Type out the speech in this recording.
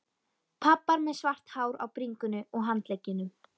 Pabbar með svart hár á bringunni og handleggjunum.